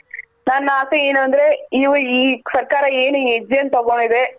ನನ್ನಾಸೆ ಏನು ಅಂದ್ರೆ ಈ ಸರ್ಕಾರ ಏನು ಹೆಜ್ಜೆನ್ ತಗೊಂಡಿದೆ.